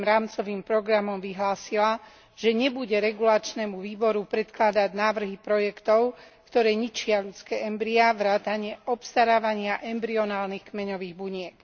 7. rámcovým programom vyhlásila, že nebude regulačnému výboru predkladať návrhy projektov, ktoré ničia ľudské embryá vrátane obstarávania embryonálnych kmeňových buniek.